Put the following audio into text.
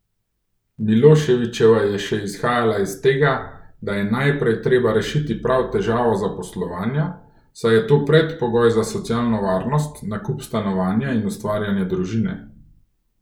Miloševićeva je še izhajala iz tega, da je najprej treba rešiti prav težavo zaposlovanja, saj je to predpogoj za socialno varnost, nakup stanovanja in ustvarjanje družine.